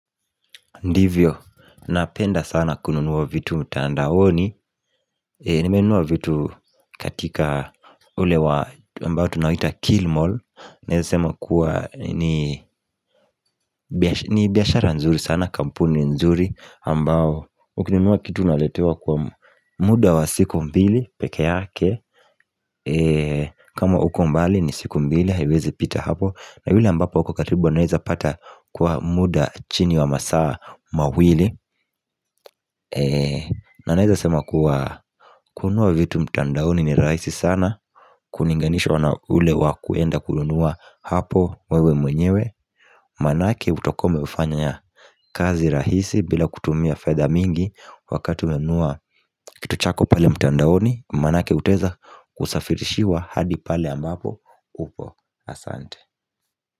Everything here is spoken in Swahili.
Ndivyo, napenda sana kununuwa vitu mtandaoni Nimenuwa vitu katika ule wa mbao tunawita KillMall Neaza sema kuwa ni ni biyashara nzuri sana kampuni nzuri mbao, ukununuwa kitu naletewa kwa muda wa siku mbili peke yake kama uko mbali ni siku mbili, haiwezi pita hapo na ule ambapo uko karibu anaweza pata kwa muda chini wa masaa mawili na naeza sema kuwa kununua vitu mtandaoni ni rahisi sana Kulinganishwa na ule wakuenda kununua hapo wewe mwenyewe Manake utakuwa umefanya ya kazi rahisi bila kutumia fedha mingi wakati umenunua kitu chako pale mtandaoni manake utaeza kusafirishiwa hadi pale ambapo upo asante.